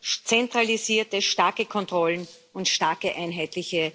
zentralisierte starke Kontrollen und starke einheitliche